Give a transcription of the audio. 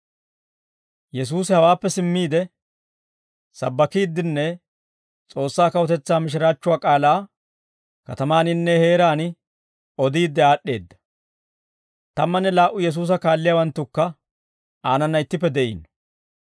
Yesuusi hawaappe simmiide, sabbakiiddinne S'oossaa kawutetsaa mishiraachchuwaa k'aalaa katamaaninne heeraan odiidde aad'd'eedda. Tammanne laa"u Yesuusa kaalliyaawanttukka aanana ittippe de'iino.